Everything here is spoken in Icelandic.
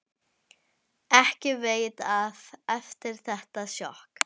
Ekki veitti af eftir þetta sjokk.